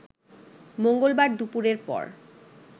মঙ্গলবার দুপুরের পর